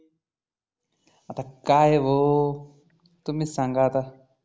अता काय भाऊ तुम्हीच सांगा आता